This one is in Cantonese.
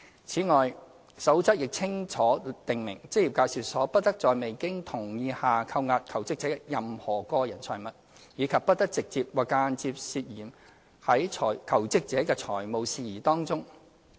此外，《守則》亦清楚訂明職業介紹所不得在未經同意下扣押求職者的任何個人財物，以及不得直接或間接牽涉在求職者的財務事宜之中。